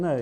Ne.